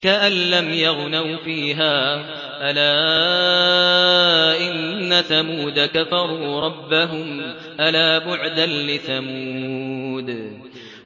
كَأَن لَّمْ يَغْنَوْا فِيهَا ۗ أَلَا إِنَّ ثَمُودَ كَفَرُوا رَبَّهُمْ ۗ أَلَا بُعْدًا لِّثَمُودَ